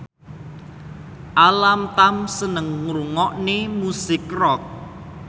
Alam Tam seneng ngrungokne musik rock